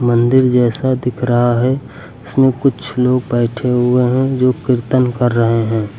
मंदिर जैसा दिख रहा है इसमें कुछ लोग बैठे हुए हैं जो कीर्तन कर रहे हैं।